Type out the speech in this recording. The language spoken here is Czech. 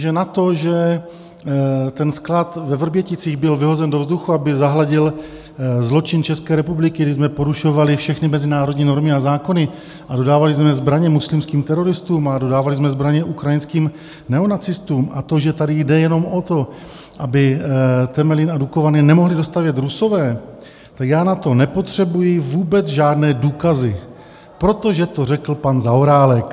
Že na to, že ten sklad ve Vrběticích byl vyhozen do vzduchu, aby zahladil zločin České republiky, kdy jsme porušovali všechny mezinárodní normy a zákony a dodávali jsme zbraně muslimským teroristům a dodávali jsme zbraně ukrajinských neonacistům, a to, že tady jde jenom o to, aby Temelín a Dukovany nemohli dostavět Rusové, tak já na to nepotřebuji vůbec žádné důkazy, protože to řekl pan Zaorálek.